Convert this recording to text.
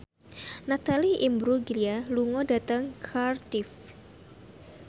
Natalie Imbruglia lunga dhateng Cardiff